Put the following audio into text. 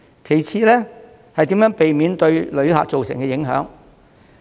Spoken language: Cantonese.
其次是如何避免對旅客造成影響。